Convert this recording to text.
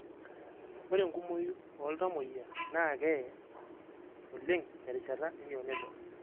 Ore enkumoi ooltamoyia naa keye oleng terishata e neonatal?